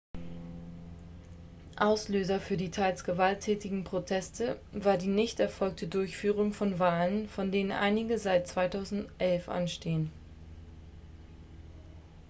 auslöser für die teils gewalttätigen proteste war die nicht erfolgte durchführung von wahlen von denen einige seit 2011 anstehen